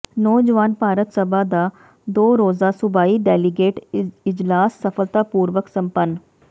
ਨੌਜਵਾਨ ਭਾਰਤ ਸਭਾ ਦਾ ਦੋ ਰੋਜ਼ਾ ਸੂਬਾਈ ਡੈਲੀਗੇਟ ਇਜਲਾਸ ਸਫ਼ਲਤਾ ਪੂਰਵਕ ਸੰਪੰਨ